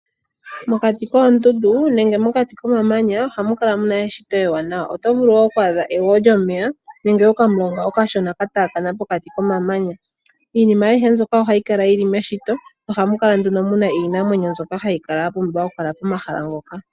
Mokati koondundu nenge mokati komamanya ohamu kala mu na eshito ewaanawa. Oto vulu oku adha egwo lyomeya nenge okamulonga okashona ka taakana pokati komamanya. Iinima ayihe mbyoka ohayi kala yi li meshito. Ohamu kala nduno mu na iinamwenyo mbyoka hayi kala ya pumbiwa pomahala ngoka.